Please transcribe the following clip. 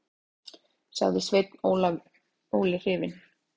sagði Sveinn Óli hrifinn.